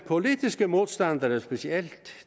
politiske modstandere specielt